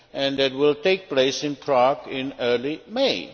that will take place in Prague in early May.